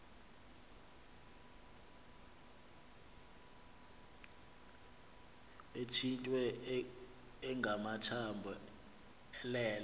ethitye engamathambo elele